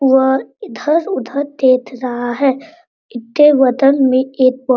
वह इधर-उधर देख रहा है इसके बगल में एक --